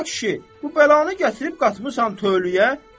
A kişi, bu bəlanı gətirib qatmısan töləyə,